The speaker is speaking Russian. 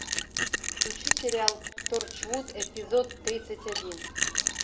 включи сериал торчвуд эпизод тридцать один